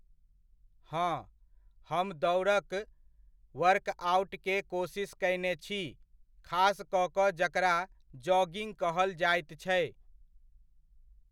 हँ, हम दौड़क वर्कऑउटके कोशिश कयने छी खास कऽ कऽ जकरा जॉगिङ्ग कहल जाइत छै।